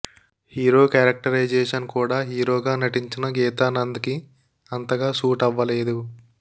hero characterisation కూడా హీరోగా నటించిన గీతానంద్ కి అంతగా సూట్ అవ్వలేదు